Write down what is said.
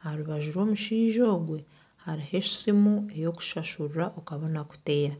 aha rubaju rw'omushaija ogwe hariho esimu ey'okushashuriraho okabona kuteera